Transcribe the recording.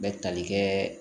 Bɛ tali kɛɛ